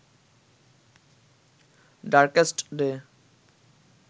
darkest day